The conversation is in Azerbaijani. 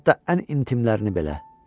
Hətta ən intimlərini belə.